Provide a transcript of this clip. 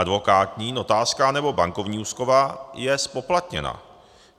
Advokátní, notářská nebo bankovní úschova je zpoplatněna.